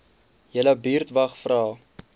julle buurtwag vra